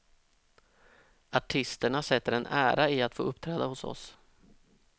Artisterna sätter en ära i att få uppträda hos oss.